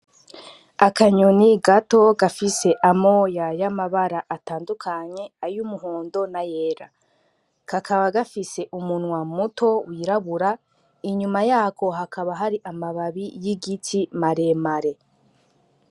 Akanyoni gato gafise amoya y' amabara atandukanye ay'umuhondo n' ayera kakaba gafise umunwa muto wirabura inyuma yako hakaba hari amababi y' igiti mare mare.